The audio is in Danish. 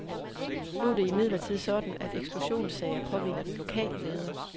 Nu er det imidlertid sådan, at eksklusionssager påhviler den lokale leder.